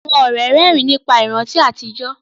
Àwọn ọ̀rẹ́ rẹ́rìn nípa àwọn ìrántí àtijọ́